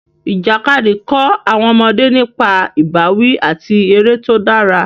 Ìjàkadì kọ́ àwọn ọmọdé nípa ìbáwí àti eré tó dára.